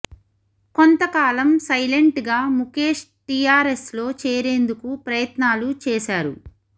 కొంతకాలం సలైంట్ గా ముఖేష్ టీఆర్ ఎస్ లో చేరేందుకు ప్రయత్నాలు చేశారు